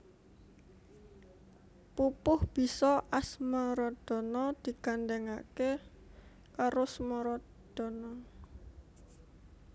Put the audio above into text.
Pupuh bisa asmaradana digandhèngaké karo Smaradahana